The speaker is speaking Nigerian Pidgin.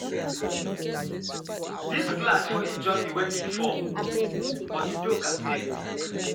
Dis glass for injure me wen e fall, but Udoka save me.